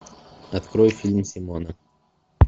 открой фильм симона